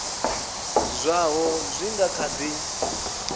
zwaho zwi nga kha di